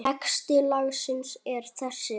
Texti lagsins er þessi